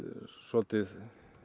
svolítið